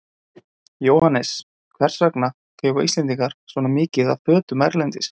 Jóhannes: Hvers vegna kaupa Íslendingar svona mikið af fötum erlendis?